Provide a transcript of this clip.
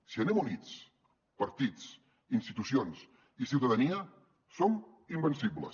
si anem units partits institucions i ciutadania som invencibles